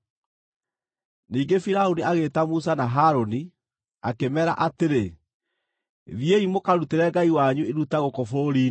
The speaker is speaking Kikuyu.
Ningĩ Firaũni agĩĩta Musa na Harũni, akĩmeera atĩrĩ, “Thiĩi mũkarutĩre Ngai wanyu iruta gũkũ bũrũri-inĩ.”